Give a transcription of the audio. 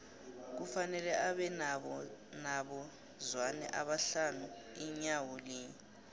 kufanele abe nabo zwane abahlanu inyawo linye